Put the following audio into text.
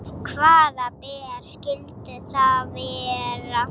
Hvaða ber skyldu það vera?